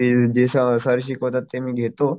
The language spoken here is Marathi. ते जे सर शिकवतात ते मी घेतो